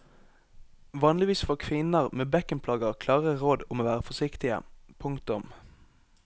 Vanligvis får kvinner med bekkenplager klare råd om å være forsiktige. punktum